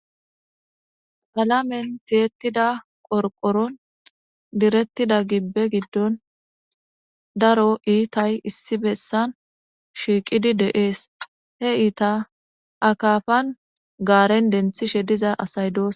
Aamen teyettida qorqoron direttida gibbe giddon daro iitay issi bessan shiiqidi deees he iita akaafan gaaren denthishe diza asay doos.